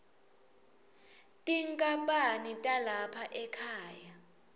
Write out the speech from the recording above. tinkhapani talapha ekhaya